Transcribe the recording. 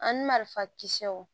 An marifa kisɛw